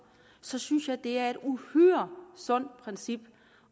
så synes jeg det er et uhyre sundt princip